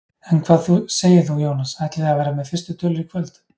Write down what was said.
En hvað segir þú Jónas, ætlið þið að vera með fyrstu tölur í kvöld?